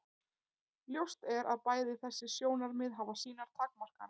Ljóst er að bæði þessi sjónarmið hafa sínar takmarkanir.